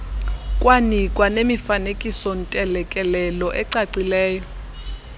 kwanikwa nemifanekisoontelekelelo eeacileyo